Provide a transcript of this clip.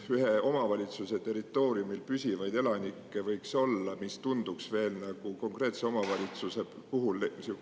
kui väike arv püsielanikke võiks ühe omavalitsuse territooriumil konkreetset omavalitsust valida, selliseid otsuseid teha?